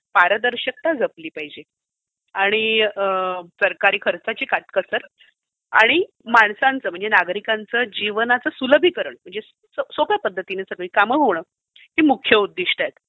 पारदर्शकता जपली पाहिजे. आणि सरकारी खर्चाची काटकसर आणि माणसांचं म्हणजे नागरिकांचं जीवनाचं सुलभीकरण म्हजणे सोप्या पद्धतीने सगळी कामं होणं हे उद्दिष्ट आहे.